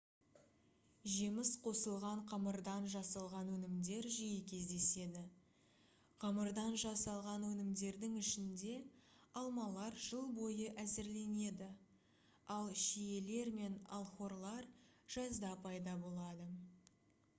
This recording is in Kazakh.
жеміс қосылған қамырдан жасалған өнімдер жиі кездеседі қамырдан жасалған өнімдердің ішінде алмалар жыл бойы әзірленеді ал шиелер мен алхорылар жазда пайда болады